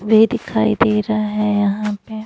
भी दिखाई दे रहा है यहां पे --